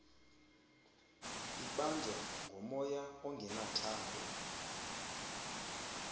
ibanjwa ngomoya ongenathando